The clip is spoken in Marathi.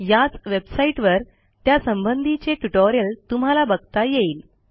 याच वेबसाईटवर त्यासंबंधीचे ट्युटोरियल तुम्हाला बघता येईल